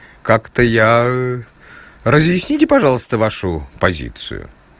как-то я разъясните пожалуйста вашу позицию